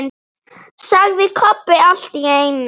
sagði Kobbi allt í einu.